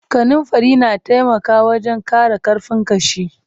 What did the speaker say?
Kanunfari na taimaka wajen ƙara ƙarfin ƙashi.